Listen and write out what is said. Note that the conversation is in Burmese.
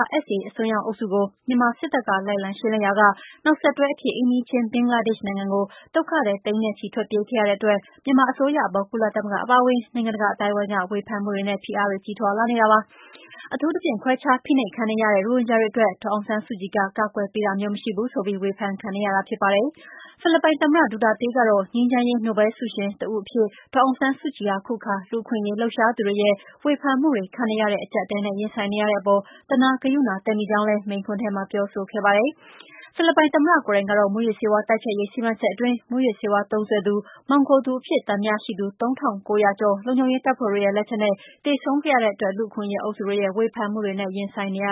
ARSA အစွန်းရောက်အုပ်စုကို မြန်မာစစ်တပ်က လိုက်လံ ရှင်းလင်းရာက နောက်ဆက်တွဲအဖြစ် အိမ်နီးချင်း ဘင်္ဂလားဒေ့ရှ် နိုင်ငံကို ဒုက္ခသည်သိန်းနဲ့ချီ ထွက်ပြေးခဲ့ရတဲ့အတွက် မြန်မာအစိုးရအပေါ် ကုလသမဂ္ဂ အပါအဝင် နိုင်ငံတကာ အသိုင်းအဝန်းက ဝေဖန်မှုတွေနဲ့ ဖိအားတွေ ကြီးထွားလာနေတာပါ။ အထူးသဖြင့် ခွဲခြားဖိနှိပ်ခံနေရတဲ့ ရိုဟင်ဂျာတွေအတွက် ဒေါ်အောင်ဆန်းစုကြည် က ကာကွယ်ပေးတာမျိုး မရှိဘူးဆိုပြီး ဝေဖန်ခံနေရတာ ဖြစ်ပါတယ်။ ဖိလစ်ပိုင်သမ္မတ Duterte ကတော့ ငြိမ်းချမ်းရေး နိုဘဲလ်ဆုရှင် တဦးအဖြစ် ဒေါ်အောင်ဆန်းစုကြည်ဟာ အခုအခါ လူ့အခွင့်အရေး လှုပ်ရှားသူတွေရဲ့ ဝေဖန်မှုတွေ ခံနေရတဲ့ အကျပ်အတည်းနဲ့ ရင်ဆိုင်နေရတဲ့အပေါ် သနားဂရုဏာသက်မိကြောင်းလည်း မိန့်ခွန်းထဲမှာ ပြောဆိုခဲ့တာပါ။ ဖိလစ်ပိုင် သမ္မတ ကိုယ်တိုင်ကတော့ မူးယစ်ဆေးဝါး တိုက်ဖျက်ရေး စီမံချက်အတွင်း၊ မူးယစ်ဆေးဝါး သုံးစွဲသူ မှောင်ခိုသူအဖြစ် သံသယရှိသူ ၃,၉၀၀ ကျော် လုံခြုံရေးတပ်ဖွဲ့တွေရဲ့ လက်ချက်နဲ့ သေဆုံးခဲ့ရတဲ့အတွက် လူ့အခွင့်အရေး အုပ်စုတွေရဲ့ ဝေဖန်မှုတွေနဲ့ ရင်ဆိုင်နေရ